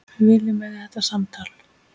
Við viljum eiga þetta samtal.